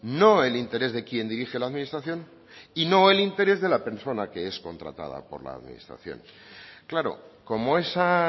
no el interés de quien dirige la administración y no el interés de la persona que es contratada por la administración claro como esa